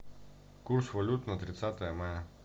курс валют на тридцатое мая